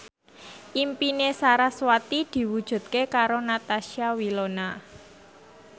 impine sarasvati diwujudke karo Natasha Wilona